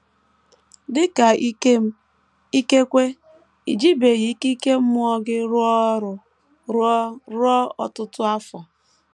Dị ka Ikem, ikekwe i jibeghị ikike ime mmụọ gị rụọ ọrụ ruo ruo ọtụtụ afọ.